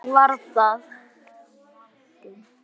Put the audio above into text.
En þannig varð það.